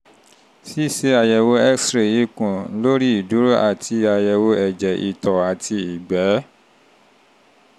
ṣíṣe àyẹ̀wò x-ray ikùn lórí ìdúró àti àyẹ̀wò ẹ̀jẹ̀ ìtọ̀ àti ìgbẹ́